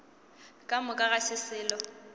ka moka ga se selo